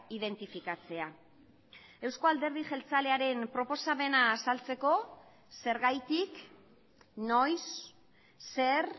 identifikatzea euzko alderdi jeltzalearen proposamena azaltzeko zergatik noiz zer